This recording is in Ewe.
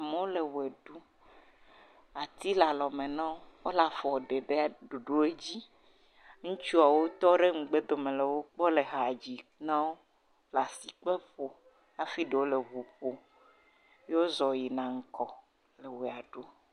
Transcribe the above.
Amewo le ʋe ɖum ati le alɔme na wo wole afɔ ɖe ɖe ɖoɖo dzi. Ŋuitsuawo tɔ ɖe megbe dome na wo wo le ha dzi na wo. Asi kple afɔ afi ɖewo le eŋu ƒom wozɔ yina ŋgɔ le ʋe ɖum.